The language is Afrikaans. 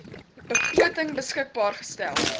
begroting beskikbaar gestel